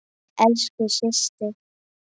Elsku systir.